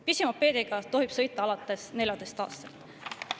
Pisimopeediga tohib sõita alates 14‑aastaselt.